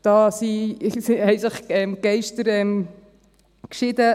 Da schieden sich die Geister.